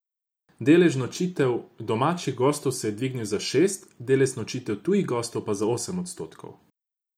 Delež nočitev domačih gostov se je dvignil za šest, delež nočitev tujih gostov pa za osem odstotkov.